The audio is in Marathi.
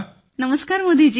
नमस्कार मोदी जी